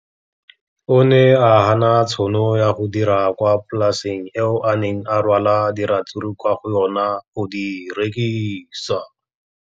O ne a gana tšhono ya go dira kwa polaseng eo a neng rwala diratsuru kwa go yona go di rekisa.